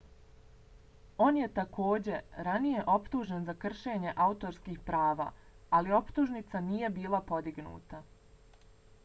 on je takođe ranije optužen za kršenje autorskih prava ali optužnica nije bila podignuta